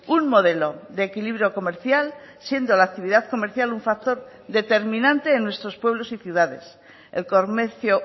un modelo de equilibrio comercial siendo la actividad comercial un factor determinante en nuestros pueblos y ciudades el comercio